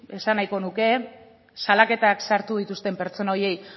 esan nahiko nuke salaketak sartu dituzten pertsona horiei